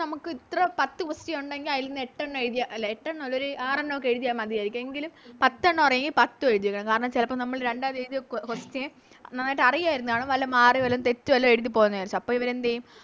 നമുക്ക് ഇത്ര പത്ത് Question ഒണ്ടെങ്കിൽ ആയിലിന്ന് എട്ടെണ്ണം എഴുതിയാൽ അല്ല എട്ടെണ്ണല്ല ഒരു ആറെണ്ണോക്കെ എഴുതിയാൽ മതിയാരിക്കും എങ്കിലും പത്തെണ്ണം അറിയെങ്കിൽ പത്തും എഴുതി വെക്കണം കാരണംന്ന് ചെലപ്പോ നമ്മള് രണ്ടാമത് എഴുതിയ Question നന്നായിട്ട് അറിയുവായിരുന്ന് കാണും വല്ല മാറി വല്ല തെറ്റോ വല്ലോ എഴുതി പൊന്നായാന്ന് വെച്ചോ അപ്പൊ ഇവരെന്തേയും